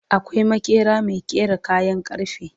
akwai maƙeri Mai ƙera kayan karfe